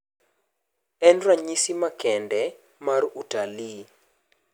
En ranyisi nmakende mar utalii.